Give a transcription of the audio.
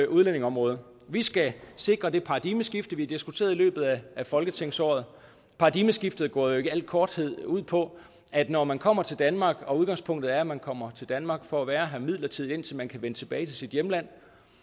udlændingeområdet vi skal sikre det paradigmeskifte vi har diskuteret i løbet af folketingsåret paradigmeskiftet går jo i al korthed ud på at når man kommer til danmark og udgangspunktet er at man kommer til danmark for at være her midlertidigt indtil man kan vende tilbage til sit hjemland